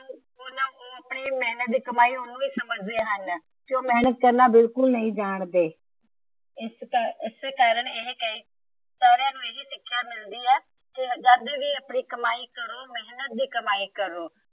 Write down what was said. ਉਹ ਆਪਣੀ ਮੇਹਨਤ ਦੀ ਕਮਾਈ ਉਹਨੂੰ ਸਮਝ ਦੇ ਹਨ। ਜੋ ਮੇਹਨਤ ਕਰਨਾ ਬਿਲਕੁਲ ਨਹੀਂ ਜਾਣਦੇ। ਸਾਰਿਆਂ ਨੂੰ ਇਹੋ ਸਿੱਖਿਆ ਮਿਲਦੀ ਮਿਲਦੀ ਹੈ। ਕਿ ਜਦ ਵੀ ਆਪਣੀ ਕਮਾਈ ਕਰੋ ਮੇਹਨਤ ਦੀ ਕਮਾਈ ਕਰੋ।